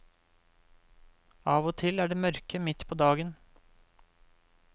Av og til er det mørke midt på dagen.